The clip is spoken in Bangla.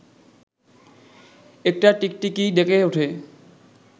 একটা টিকটিকি ডেকে ওঠে